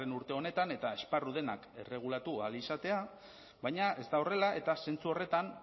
urte honetan eta esparru denak erregulatu ahal izatea baina ez da horrela eta zentzu horretan